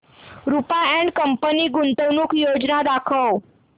Rupa and company गुंतवणूक योजना दाखव